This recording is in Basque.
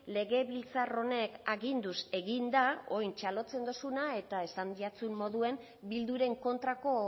legebiltzar honen aginduz egin da orain txalotzen duzuna eta esan zaizun moduan bilduren kontrako